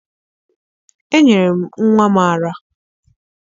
Enyere m nnwa m ara